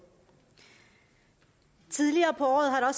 tidligere på året har der